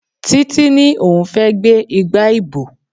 Títí ní òun fẹ́ gbé igba ìbò.